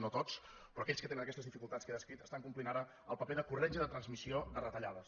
no tots però aquells que tenen aquestes dificultats que he descrit estan complint ara el paper de corretja de transmissió de retallades